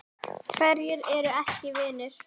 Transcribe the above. Hverjir eru ekki vinir?